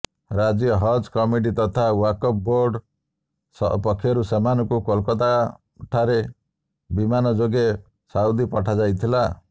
ରାଜ୍ୟ ହଜ୍ କମିଟି ତଥା ଓ୍ବାକଫ ବୋର୍ଡ ପକ୍ଷରୁ ସେମାନଙ୍କୁ କୋଲକାତାରେ ବିମାନ ଯୋଗେ ସାଉଦୀ ପଠାଯାଇଥିଲା